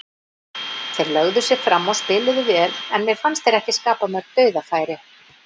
Þeir lögðu sig fram og spiluðu vel, en mér fannst þeir ekki skapa mörg dauðafæri.